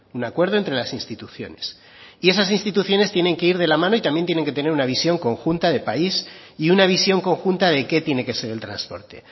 un acuerdo entre las instituciones y esas instituciones tienen que ir de la mano y también tienen que tener una visión conjunta de país y una visión conjunta de qué tiene que ser el transporte